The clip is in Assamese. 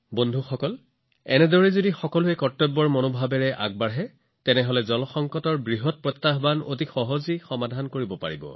বন্ধুসকল যদি এনে কৰ্তব্যৰ অনুভূতি সকলোৰে মনলৈ আহে তেন্তে পানীৰ সংকটৰ সৈতে সম্পৰ্কিত আটাইতকৈ ডাঙৰ প্ৰত্যাহ্বানবোৰ সমাধান কৰিব পাৰি